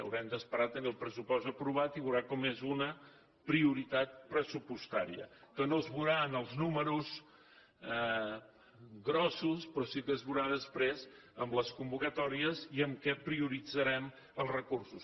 haurem d’esperar també el pressupost aprovat i veurà com és una prioritat pressupostària que no es veurà en els números grossos però sí que es veurà després en les convocatòries i en què prioritzarem els recursos